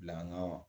Bila ŋanamu